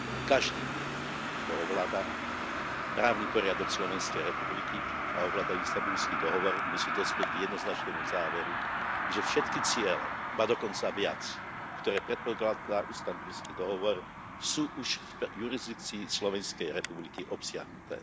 Každý, kto ovláda právny poriadok Slovenskej republiky a ovláda Istanbulský dohovor, musí dospieť k jednoznačnému záveru, že všetky ciele, ba dokonca viac, ktoré predkladá Istanbulský dohovor, sú už v jurisdikcii Slovenskej republiky obsiahnuté.